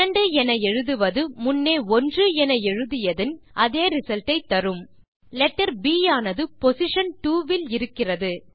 2 என எழுதுவது முன்னே 1 என எழுதியதின் அதே ரிசல்ட் ஐ தரும்letter ப் ஆனது பொசிஷன் 2 இல் இருக்கிறது